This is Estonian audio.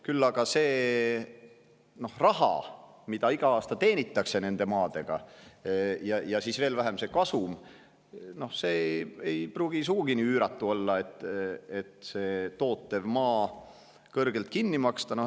Küll aga see raha, mida iga aasta teenitakse nende maadega, ja veel vähem kasum ei pruugi sugugi üüratud olla, nii et tootva maa kõrgelt kinni maksta.